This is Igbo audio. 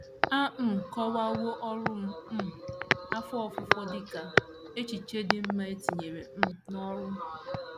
A um kọwawo ọrụ um afọ ofufo dị ka “ echiche dị mma e tinyere um n’ọrụ. ”